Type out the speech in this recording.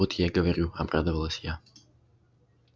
вот я и говорю обрадовалась я